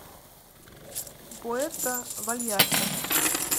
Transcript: пуэрто вальярта